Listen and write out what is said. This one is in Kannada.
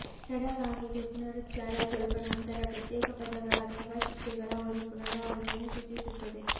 ತಡವಾಗಿದೆ ಪುನರುಚ್ಚಾರ ಸ್ವಲ್ಪ ನಂತರ ಪ್ರತ್ಯೇಕ ಪದಗಳ ಅಥವಾ ಶಿಕ್ಷೆಗಳ ಒಂದು ಪುನರಾವರ್ತನೆ ಸೂಚಿಸುತ್ತದೆ